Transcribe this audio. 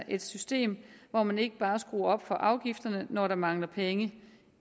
et system hvor man ikke bare skruer op for afgifterne når der mangler penge